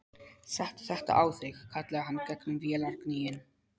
Settu þetta á þig, kallaði hann gegnum vélargnýinn.